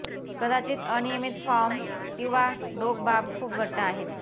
कदाचित अनियमित फॉर्म किंवा डोक बाब खूप घट्ट आहेत